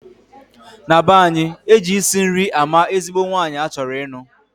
Na banyi, Eji isi nri ama ezigbo nwanyi achoro inuu.